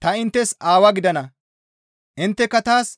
Ta inttes Aawa gidana; intteka taas